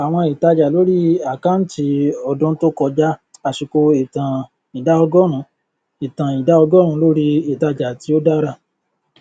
àwọn ìtájà lórí àkáǹtí ọdún tó kọjá àsìkò ìtàn ìdá ọgórùnún ìtàn ìdá ọgórùnún lórí ìtájà tí ó dára